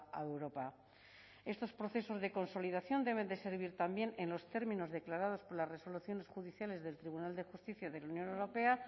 a europa estos procesos de consolidación deben de servir también en los términos declarados por las resoluciones judiciales del tribunal de justicia de la unión europea